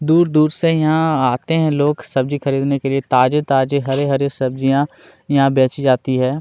दूर-दूर से यहाँ आते है लोग सब्जि खरीदने के लिए ताजे-ताजे हरी-हरी सब्जिया यहाँ बेची जाती है।